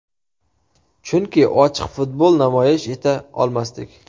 Chunki ochiq futbol namoyish eta olmasdik.